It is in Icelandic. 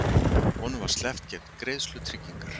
Honum var sleppt gegn greiðslu tryggingar